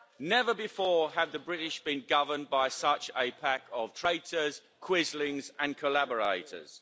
Never before have the British been governed by such a pack of traitors, quislings and collaborators.